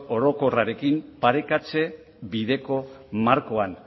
orokorrarekin parekatze bideko markoan